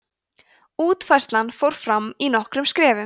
útfærslan fór fram í nokkrum skrefum